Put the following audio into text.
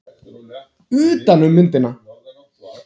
Utan um myndina.